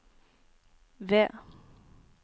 V